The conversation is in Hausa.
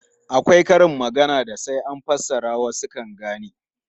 Akwai karin maganar da sai an fassara wasu kan gane.